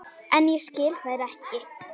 En ég skil þær ekki.